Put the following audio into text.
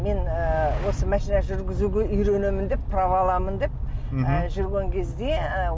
мен ы осы машина жүргізуге үйренемін деп право аламын деп ы жүрген кезде ы